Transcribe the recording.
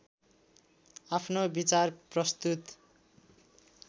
आफ्नो विचार प्रस्तुत